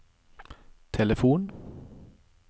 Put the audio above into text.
telefon